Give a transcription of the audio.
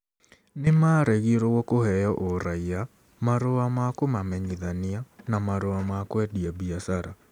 Nĩ maaregirũo kũheo ũraiya, marũa ma kũmamenyithania, na marũa ma kwendia biacara.